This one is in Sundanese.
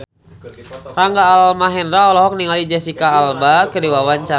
Rangga Almahendra olohok ningali Jesicca Alba keur diwawancara